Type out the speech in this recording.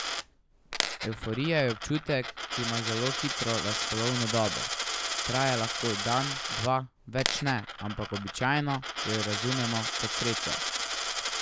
Evforija je občutek, ki ima zelo hitro razpolovno dobo, traja lahko dan, dva, več ne, ampak običajno jo razumemo kot srečo.